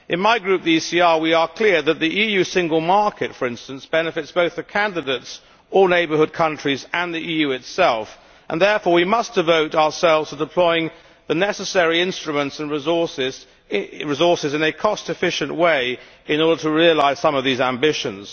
In my Group, the ECR, we are clear that the EU single market, for instance, benefits both the candidates or neighbourhood countries and the EU itself, and therefore we must devote ourselves to deploying the necessary instruments and resources in a cost efficient way in order to realise some of these ambitions.